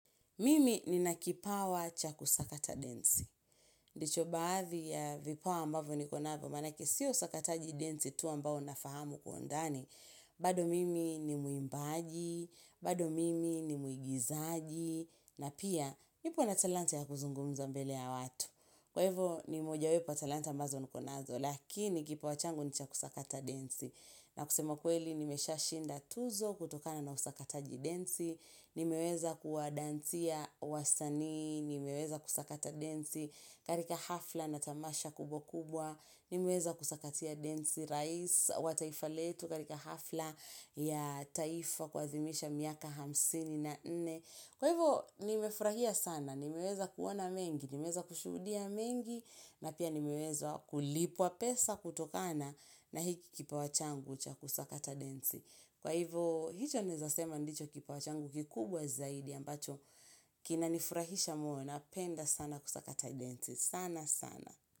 Mimi nina kipawa cha kusakata densi. Ndicho baadhi ya vipawa ambavo niko navo, manake siyo usakataji densi tu ambao nafahamu kwa ndani. Bado mimi ni mwimbaji, bado mimi ni muigizaji, na pia nipo na talanta ya kuzungumza mbele ya watu. Kwa hivo ni mojawepo ya talanta ambazo niko nazo, lakini kipawa changu ni cha kusakata densi. Na kusema kweli nimeshashinda tuzo kutokana na usakataji densi. Nimeweza kuwadansia wasanii, nimeweza kusakata densi karika hafla na tamasha kubwa kubwa Nimeweza kusakatia densi rais wa taifa letu karika hafla ya taifa kuadhimisha miaka hamsini na nne Kwa hivo nimefurahia sana, nimeweza kuona mengi, nimeweza kushudia mengi na pia nimeweza kulipwa pesa kutokana na hiki kipawa changu cha kusakata densi Kwa hivo, hicho naeza sema ndicho kipawa changu kikubwa zaidi ambacho kinanifurahisha moyo, napenda sana kusakata densi, sana sana.